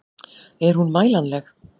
Er hún mælanleg?